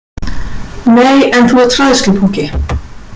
Nei, en þú ert hræðslupúki.